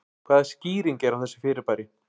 Hvaða skýring er á þessu fyrirbæri?